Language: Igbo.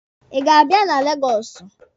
Ị ga-abịa na Legọsụ?